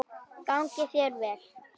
Gangi þér vel!